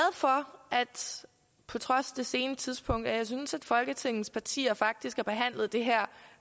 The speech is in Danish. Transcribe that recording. for på trods af det sene tidspunkt at folketingets partier faktisk har behandlet det her